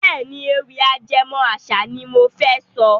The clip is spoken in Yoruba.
Bẹ́ẹ̀ni, Ewì ajẹmó àṣà ni mofẹ sọ.